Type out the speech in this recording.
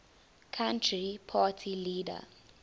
country party leader